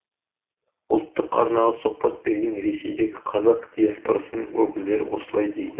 ұлттық арнаға сұхбат берген ресейдегі қазақ диаспорасының өкілдері осылай дейді